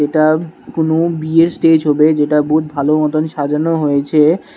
এটা কোনো বিয়ের স্টেজ হবে যেটা বহুত ভালো মতন সাজানো হয়েছে।